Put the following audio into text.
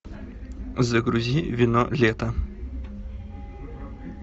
загрузи вино лета